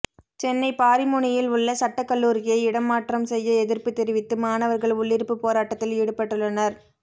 சென்னை பாரிமுனையில் உள்ள சட்டக் கல்லூரியை இடம் மாற்றம் செய்ய எதிர்ப்பு தெரிவித்து மாணவர்கள் உள்ளிருப்பு போராட்டத்தில் ஈடுபட்டுள்ளனர்